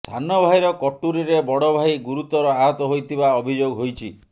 ସାନ ଭାଇର କଟୁରୀରେ ବଡ଼ ଭାଇ ଗୁରୁତର ଆହତ ହୋଇଥିବା ଅଭିଯୋଗ ହୋଇଛି